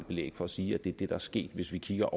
belæg for at sige at det er det der er sket hvis vi kigger